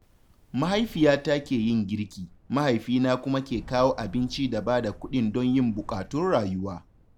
Mahaifiyata ke yin girki, mahaifina kuma ke kawo abinci da ba da kuɗin don yin buƙatun rayuwa